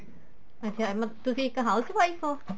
ਅੱਛਾ ਮਤਲਬ ਤੁਸੀਂ ਇੱਕ house wife ਓ